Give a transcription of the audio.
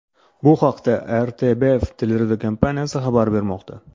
Bu haqda RTBF teleradiokompaniyasi xabar bermoqda .